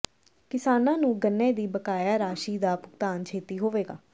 ਕਿਸਾਨਾਂ ਨੂੰ ਗੰਨੇ ਦੀ ਬਕਾਇਆ ਰਾਸ਼ੀ ਦਾ ਭੁਗਤਾਨ ਛੇਤੀ ਹੋਵੇਗਾ